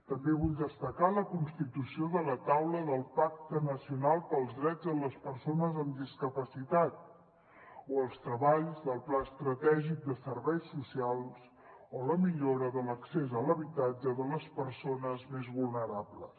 també vull destacar la constitució de la taula del pacte nacional pels drets de les persones amb discapacitat o els treballs del pla estratègic de serveis socials o la millora de l’accés a l’habitatge de les persones més vulnerables